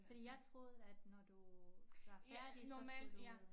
Fordi jeg troede at når du var færdig så skulle du